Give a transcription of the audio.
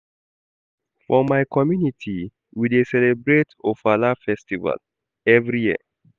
For my community, we dey celebrate Ofala festival every year.